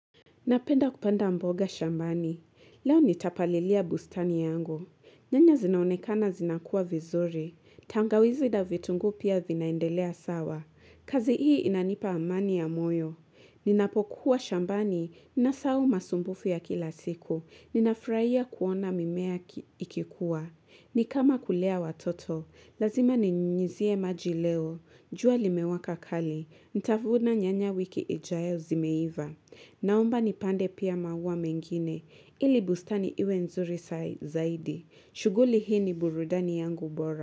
Napenda kupanda mboga shambani. Leo nitapalilia bustani yangu. Nyanya zinaonekana zinakua vizuri. Tangawizi da vitunguu pia vinaendelea sawa. Kazi hii inanipa amani ya moyo. Ninapokuwa shambani na sawu masumbufu ya kila siku. Ninafurahia kuona mimea ikikuwa. Ni kama kulea watoto. Lazima ninyizie majileo. Jua limewaka kali. Nitavuna nyanya wiki ijae zimeiva. Naomba ni pande pia maua mengine, ili bustani iwe nzuri zaidi. Shuguli hii ni burudani yangu bora.